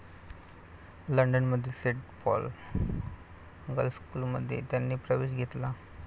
लंडनमधील 'Saint Paul girls school' मध्ये त्यांनी प्रवेश घेतला.